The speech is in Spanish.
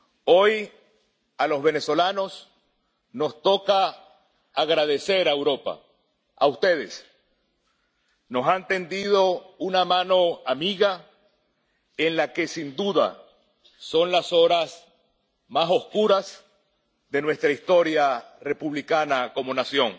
Hoy a los venezolanos nos toca agradecer a Europa, ¡a ustedes!, que nos hayan tendido una mano amiga en las que, sin duda, son las horas más oscuras de nuestra historia republicana como nación.